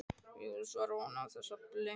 Já, svarar hún án þess að blikna.